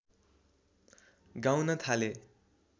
गाउन थाले